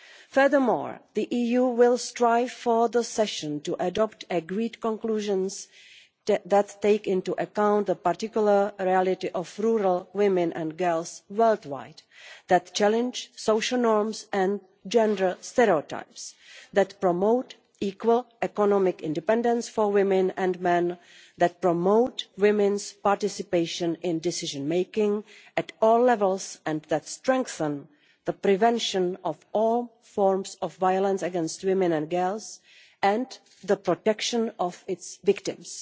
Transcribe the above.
Furthermore, the EU will strive for the session to adopt agreed conclusions that take into account the particular reality of rural women and girls world wide, that challenge social norms and gender stereotypes, that promote equal economic independence for women and men, that promote women's participation in decision-making at all levels, and that strengthen the prevention of all forms of violence against women and girls and the protection of its victims.